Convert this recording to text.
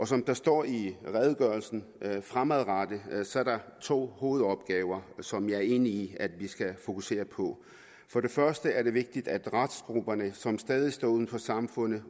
som der står i redegørelsen er der fremadrettet to hovedopgaver som jeg er enig i at vi skal fokusere på for det første er det vigtigt at restgrupperne som stadig står uden for samfundet